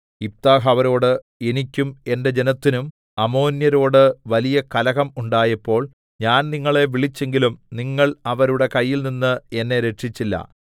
യിഫ്താഹ് അവരോട് എനിക്കും എന്റെ ജനത്തിനും അമ്മോന്യരോട് വലിയ കലഹം ഉണ്ടായപ്പോൾ ഞാൻ നിങ്ങളെ വിളിച്ചെങ്കിലും നിങ്ങൾ അവരുടെ കയ്യിൽനിന്ന് എന്നെ രക്ഷിച്ചില്ല